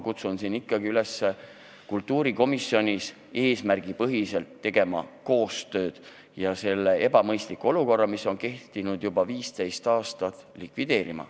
Kutsun siinkohal üles tegema kultuurikomisjonis eesmärgipärast koostööd ja selle ebamõistliku olukorra, mis on kehtinud juba 15 aastat, likvideerima.